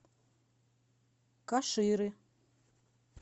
каширы